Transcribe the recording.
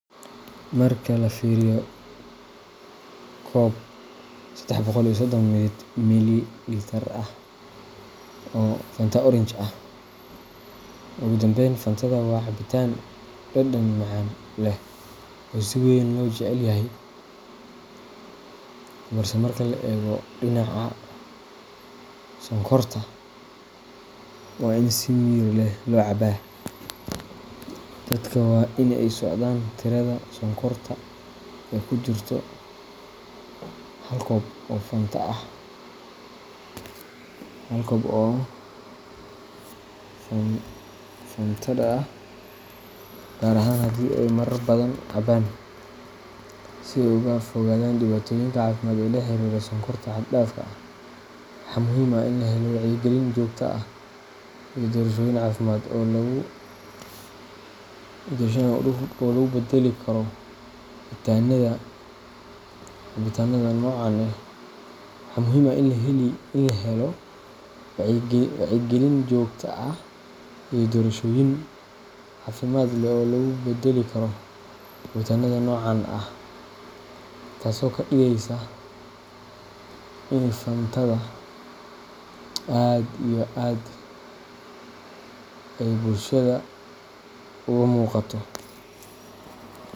Marka la fiiriyo koob sedex boqol iyo sodon mililitar ah oo Fanta Orange ah, Ugu dambayn, Fantada waa cabitaan dhadhan macaan leh oo si weyn loo jecel yahay, balse marka laga eego dhinaca sonkorta, waa in si miyir leh loo cabaa. Dadka waa in ay la socdaan tirada sonkorta ee ku jirta hal koob oo Fantada ah, gaar ahaan haddii ay marar badan cabaan, si ay uga fogaadaan dhibaatooyinka caafimaad ee la xiriira sonkorta xad-dhaafka ah. Waxaa muhiim ah in la helo wacyi gelin joogto ah iyo doorashooyin caafimaad leh oo loogu beddeli karo cabitaanada noocan ah. Taso kadigesysa ini fantada aad iyo aad ay bulshada uga muqato.